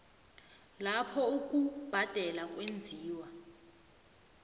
lapho ukubhadela kwenziwa